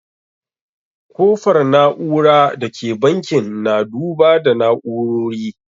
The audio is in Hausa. Kofar na'ura da ke bankin na duba na'urori.